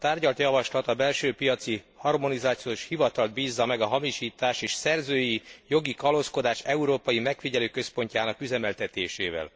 A tárgyalt javaslat, a Belső Piaci Harmonizációs Hivatalt bízza meg a hamisítás és szerzői jogi kalózkodás európai megfigyelőközpontjának üzemeltetésével.